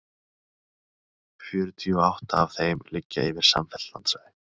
Fjörutíu og átta af þeim liggja yfir samfellt landsvæði.